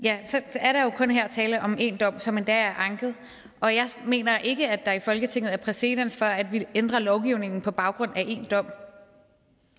er der jo her kun tale om én dom som endda er anket og jeg mener ikke at der i folketinget er præcedens for at vi ændrer lovgivningen på baggrund af én dom